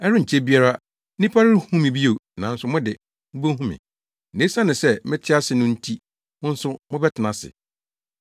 Ɛrenkyɛ biara nnipa renhu me bio, nanso mo de, mubehu me; na esiane sɛ mete ase no nti mo nso mobɛtena ase.